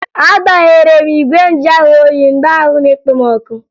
Agbaghere m igwe njuahụoyi mgbe ahụ nọ na-ekpo m ọkụ